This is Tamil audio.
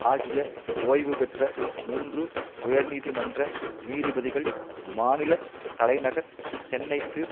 ஆகிய ஓய்வுபெற்ற மூன்று உயர்நீதிமன்ற நீதிபதிகள் மாநில தலைநகர் சென்னைக்கு